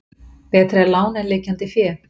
Betra er lán en liggjandi fé.